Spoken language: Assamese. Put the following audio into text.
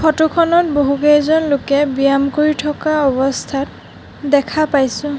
ফটো খনত বহুকেইজন লোকে ব্যায়াম কৰি থকা অৱস্থাত দেখা পাইছোঁ।